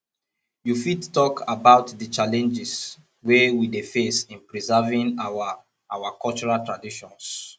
you fit talk about di challenges wey we dey face in preserving our our cultural traditions